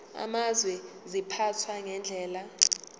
amazwe ziphathwa ngendlela